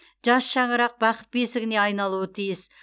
жас шаңырақ бақыт бесігіне айналуы тиіс